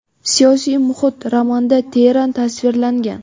siyosiy muhit romanda teran tasvirlangan.